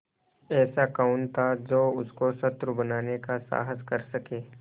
ऐसा कौन था जो उसको शत्रु बनाने का साहस कर सके